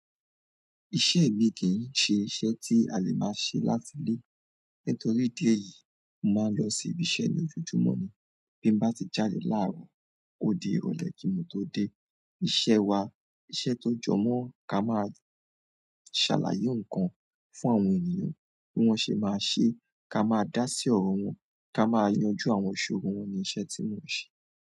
Iṣẹ́ mi kì í ṣe iṣẹ́ tí a lè máa ṣe láti ilé. Nítorí idi eyìí, mo máa ń lọ sí ibi iṣẹ́ ní ojojúmọ́ ni. Bí mo bá ti jáde láàárọ̀, ó di ìrọ̀lẹ́ kí un tó dé. Iṣẹ́ wa, iṣẹ́ tó jọ mọ́ ka máa ń ṣàlàyé nǹkan fún àwọn ènìyàn bí wọ́n ṣe máa ṣe, ká máa dá sí ọ̀rọ̀ wọn, ká máa yanjú àwọn ìṣòro wọn ni iṣẹ́ tí mò ń ṣe.